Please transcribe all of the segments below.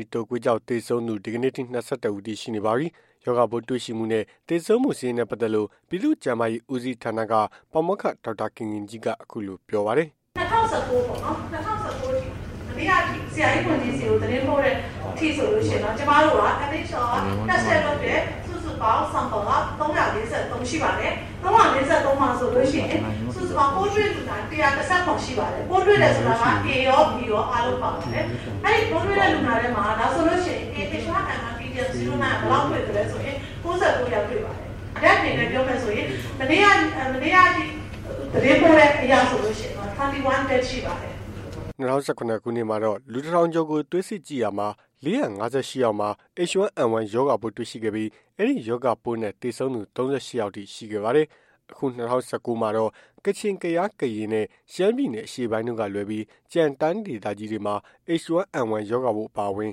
ီတုပ်ကွေးကြောင့် သေဆုံးသူ ဒီကနေ့အထိ ၂၁ ဦးထိ ရှိနေပါပြီ။ ရောဂါပိုးတွေ့ရှိမှုနဲ့ သေဆုံးမှု စာရင်းနဲ့ ပတ်သက်လို့ ပြည်သူ့ကျန်းမာရေးဦးစီး ဌာနက ပါမောက္ခ ဒေါက်တာခင်ခင်ကြီးကို အခုလိုပြောပါတယ်။ "၂၀၁၉ ပေါ့နော်။ ၂၀၁၉ မနေ့ကထိ ဆရာကြီးကို သတင်းပို့တဲ့အထိဆိုရင်ပေါ့နော် H1N1 test လုပ်တဲ့ စုစုပေါင်း ၃၄၃ ရှိပါတယ်။ ၃၄၃ မှာဆိုရင် ပိုးတွေ့လူနာ ၁၁၇ ရှိပါတယ်။ ပိုးတွေ့တယ်ဆိုတာ A ရော၊ B ရော အားလုံး ပါပါတယ်။ အဲ့ပိုးတွေ့တဲ့ လူနာထဲမှာ AH1N1 Pdm09 ဘယ်လောက်တွေ့လည်းဆိုရင် ၉၉ ယောက် တွေ့ ပါတယ်။ Dead အနေနဲ့ ပြောမယ်ဆိုရင် မနေ့ကထိ သတင်းပို့တဲ့အရဆိုရင် ၂၁ Dead ရှိပါတယ်။" ၂၀၁၇ ခုနှစ်မှာတော့ လူ ၁,၀၀၀ ကျော်ကို သွေးစစ်ကြည့််ရမှာ ၄၅၈ ယောက်မှာ H1N1 ရောဂါပိုးတွေ့ရှိခဲ့ပြီး အဲဒီရောဂါပိုးနဲ့ သေဆုံးသူ ၃၈ ယောက်ထိ ရှိခဲ့ပါတယ်။ အခု ၂၀၁၉ မှာတော့ ကချင်၊ ကယား၊ ကရင်နဲ့ ရှမ်းပြည်နယ်အရှေ့ပိုင်းတို့က လွဲပြီး ကျန်တိုင်းဒေသကြီးတွေမှာ H1N1 ရောဂါပိုး အပါအဝင်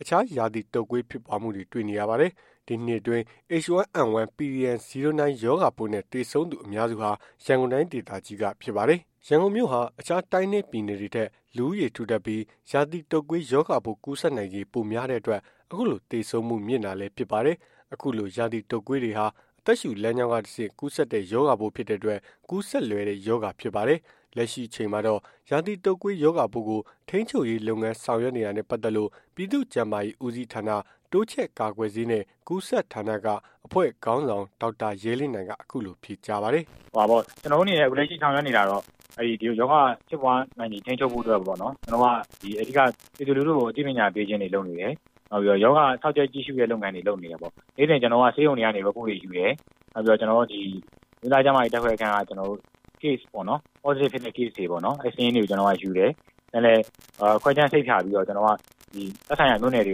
အခြားရာသီတုပ်ကွေး ဖြစ်ပွားမှုတွေ တွေ့နေရပါတယ်။ ဒီနှစ်အတွင်း H1N1 pdm09 ရောဂါပိုးနဲ့ သေဆုံးသူအများစုဟာ ရန်ကုန်တိုင်းဒေသကြီးက ဖြစ်ပါတယ်။ ရန်ကုန်မြို့ဟာ အခြားတိုင်းနဲ့ ပြည်နယ်တွေထက် လူဦးရေထူထပ်ပြီး ရာသီတုပ်ကွေး ရောဂါပိုး ကူးစက်နိုင်ခြေ ပိုများတဲ့အတွက် အခုလို သေဆုံးမှု မြင့်တာဖြစ်ပါတယ်။ အခုလို ရာသီတုပ်ကွေးတွေဟာ အသက်ရှုလမ်းကြောင်းက တဆင့် ကူးစက်တဲ့ ရောဂါပိုး ဖြစ်တဲ့အတွက် ကူးစက်လွယ်တဲ့ ရောဂါဖြစ်ပါတယ်။ လက်ရှိအချိန်မှာတော့ ရာသီတုပ်ကွေး ရောဂါပိုးကို ထိန်းချုပ်ရေး လုပ်ငန်းဆောင်ရွက်နေတာနဲ့ ပတ်သက်လို့ ပြည်သူ့ကျန်းမာရေးဦးစီးဌာန တိုးချဲ့ကာကွယ်ဆေးနဲ့ ကူးစက်ဌာနက အဖွဲ့ခေါင်းဆောင် ဒေါက်တာ ရဲလင်းနိုင်က အခုလိုဖြေကြားပါတယ်။ "ကျနော်တို့အနေနဲ့ လက်ရှိဆောင်ရွက်နေတာတော့ ရောဂါဖြစ်ပွားနိုင်ချေ ထိန်းချုပ်ဖို့အတွက်ကို အဓိက ပြည်သူလူထုကို အသိပညာပေးခြင်းတွေ လုပ်နေတယ်။ နောက်ပြီးတော့ ရောဂါစောင့်ကြပ် ကြည့်ရှုတဲ့ လုပ်ငန်းတွေ လုပ်နေတယ်။ နေ့စဉ် ဆေးရုံတွေကနေ ကျနော်တို့ Report တွေယူတယ်။ နောက်ပြီးတော့ ဒီအမျိုးသား ကျန်းမာရေး ဓာတ်ခွဲခန်းကနေပြီးတော့ Case ပေါ့နော်။ Positive ဖြစ်တဲ့ Case တွေပေါ့နော် အဲ့စာရင်းတွေကို ကျနော်တို့က ယူတယ်။ ခွဲခြမ်းစိတ်ဖြာပြီး သက်ဆိုင်ရာမြို့နယ်တွေ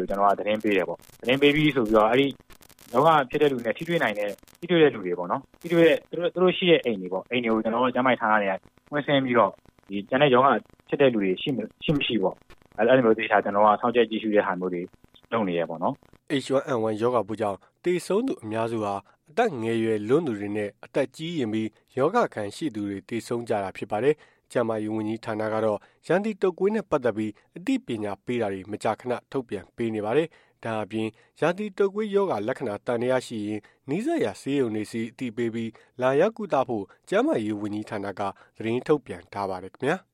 ကို သတင်းပေးတယ်ပေါ့။ သတင်းပေးပြီးဆိုရင် အဲ့ဒီရောဂါဖြစ်တဲ့ လူနဲ့ ထိတွေ့နိုင်တဲ့ ထိတွေ့တဲ့ လူတွေပေါ့နော်။ သူတို့ရှိတဲ့ အိမ်တွေပေါ့။ ကျနော်တို့ ကျန်းမာရေးဌာနက ကွင်းဆင်းပြီးတော့ ကျန်တဲ့ရောဂါဖြစ်တဲ့ လူတွေ ရှိမရှိပေါ့။ အဲ့လိုမျိုး သေချာ စောင့်ကြပ် ကြည့်ရှုတဲ့ဟာတွေ လုပ်နေတယ်ပေါ့။" H1N1 ရောဂါပိုးကြောင့် သေဆုံးသူအများစုဟာ အသက်ငယ်ရွယ်လွန်းသူတွေနဲ့ အသက်ကြီးရင့်ပြီး ရောဂါအခံရှိသူတွေ သေဆုံးကြတာဖြစ်ပါတယ်။ ကျန်းမာရေးဝန်ကြီးဌာနကတော့ ရာသီတုပ်ကွေးနဲ့ ပတ်သက်ပြီး အသိပညာပေးတာတွေ မကြာခဏ ထုတ်ပြန်ပေးနေပါတယ်။ ဒါ့အပြင် ရာသီတုပ်ကွေးရောဂါ လက္ခဏာသံသရှိရင် နီးစပ်ရာ ဆေးရုံတွေဆီ အသိပေးပြီး လာရောက်ကုသဖို့ ကျန်းမာရေး ဝန်ကြီးဌာနက သတင်းထုတ်ပြန်ထားပါတယ်ခင်ဗျာ။